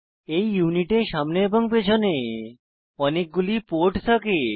এই ইউনিটে সামনে এবং পেছনে অনেকগুলি পোর্ট থাকে